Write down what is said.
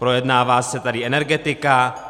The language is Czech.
Projednává se tady energetika.